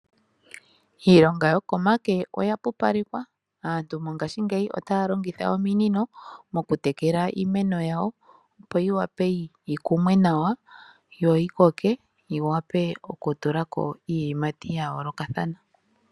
Iilonga yo komake oya pupalekwa, aantu mongashiingeyi otaya longitha ominino moku tekela iimeno yayo opo yi wape yi kumwe nawa yo yi koke yi wape oku tula ko iiyimati ya yoolokathana.